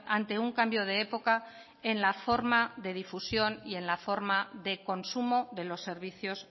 ante un cambio de época en la forma de difusión y en la forma de consumo de los servicios